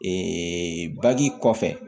bagi kɔfɛ